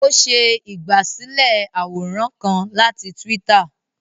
O ṣe igbasilẹ àwòrán kán láti twitter